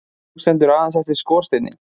Nú stendur aðeins eftir skorsteinninn